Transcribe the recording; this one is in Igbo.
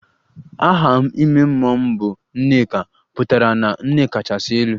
Aha ime mmụọ m bụ 'Nneka' pụtara na nne kachasị elu